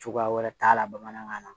Cogoya wɛrɛ t'a la bamanankan na